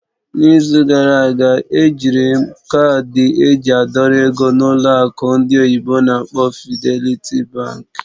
N'izu gara aga, ejiri m kaadị eji a dọrọ ego na ụlọ akụ ndị oyibo n'akpọ "Fidelity Bank".